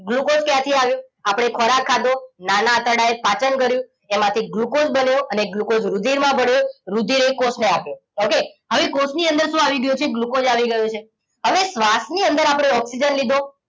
glucose ક્યાંથી આવીયો આપણે ખોરાક ખાધો નાના આતરડાએ પાચન કરીયુ એમાંથી ગ્લુકોસ બન્યો અને ગ્લુકોસ રુધિર માં ભળિયો રુધિર એ કોષ ને આપીયો ઓકે હવે કોશની અંદર શું આવી ગયું છે ગ્લુકોસ આવી ગયો છે હવે શ્વાસ ની અંદર આપણે ઓક્સિજન